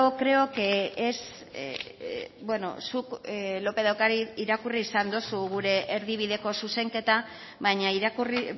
creo que es bueno beno zuk lópez de ocariz irakurri izan dozu gure erdibideko zuzenketa baina irakurri